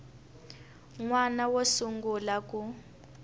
n wana wo sungula ku